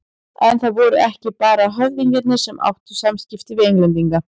En það voru ekki bara höfðingjarnir sem áttu samskipti við Englendinga.